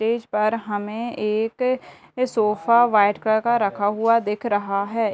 Stage पर हमें एक सोफा वाइट कलर का रखा हुआ दिख रहा है ।